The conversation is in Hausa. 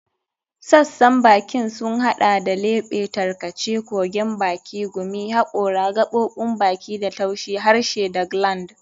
Sassan bakin sun hada da lebe, tarkace, kogon baki, gumi, hakora, gaɓoɓin baki da taushi, harshe da gland.